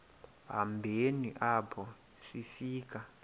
hambeni apho sifika